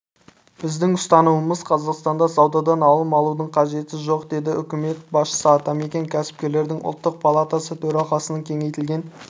біздің ұстанымымыз қазақстанда саудадан алым алудың қажеті жоқ деді үкімет басшысы атамекен кәсіпкерлердің ұлттық палатасытөралқасының кеңейтілген